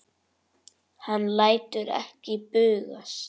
Hann lætur ekki bugast.